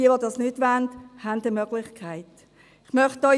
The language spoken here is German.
Wer das nicht will, hat entsprechende Möglichkeiten.